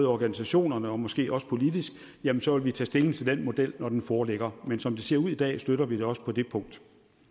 organisationerne og måske også politisk så vil vi tage stilling til den model når den foreligger men som det ser ud i dag støtter vi det også på det punkt